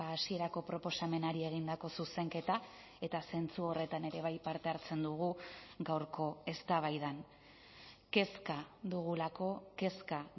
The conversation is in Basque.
hasierako proposamenari egindako zuzenketa eta zentzu horretan ere bai parte hartzen dugu gaurko eztabaidan kezka dugulako kezka